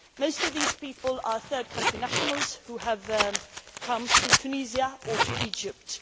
Most of these people are third country nationals who have come to Tunisia or to Egypt.